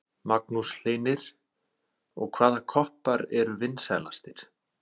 Magnús Hlynir: Og hvaða koppar eru vinsælastir?